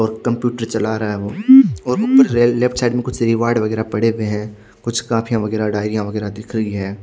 और कंप्यूटर चला रहा है वो और ऊ ले लेफ्ट साइड में कुछ रिवॉर्ड वगैरह पड़े हुए हैं कुछ काफियां वगैरह डायरियां वगैरह दिख रही हैं।